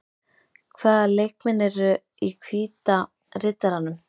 Hvaða leikmenn eru í Hvíta Riddaranum?